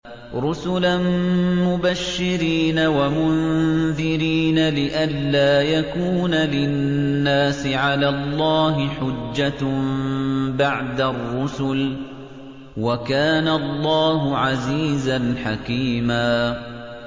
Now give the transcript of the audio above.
رُّسُلًا مُّبَشِّرِينَ وَمُنذِرِينَ لِئَلَّا يَكُونَ لِلنَّاسِ عَلَى اللَّهِ حُجَّةٌ بَعْدَ الرُّسُلِ ۚ وَكَانَ اللَّهُ عَزِيزًا حَكِيمًا